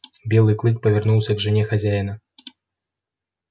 белый клык повернулся к жене хозяина